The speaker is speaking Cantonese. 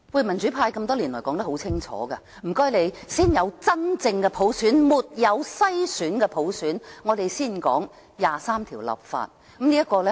民主派多年來說得很清楚，請先有真正的普選，沒有篩選的普選，我們才會談就第二十三條立法。